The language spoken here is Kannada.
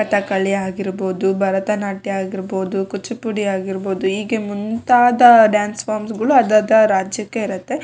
ಕಥಕಳಿ ಆಗಿರ್ಬಹುದು ಭರತನಾಟ್ಯ ಆಗಿರಬಹುದು ಕೂಚುಪುಡಿ ಆಗಿರಬಹುದು ಹೀಗೆ ಮುಂತಾದ ಡಾನ್ಸ್ ಫಾರ್ಮ್ಸ್ ಗಳು ಅದಾದ ರಾಜ್ಯಕ್ಕೆ ಇರುತ್ತೆ-